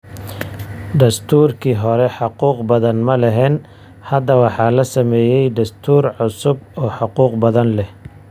Dastuurkii hore xuquuq badan ma lahayn. Hadda waxaa la sameeyay dastuur cusub oo xuquuq badan leh.